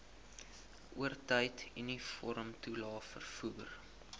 oortyd uniformtoelae vervoer